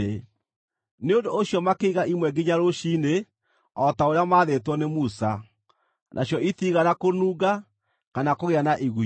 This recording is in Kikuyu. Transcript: Nĩ ũndũ ũcio makĩiga imwe nginya rũciinĩ, o ta ũrĩa maathĩtwo nĩ Musa, nacio itiigana kũnunga, kana kũgĩa na igunyũ.